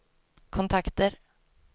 kontakter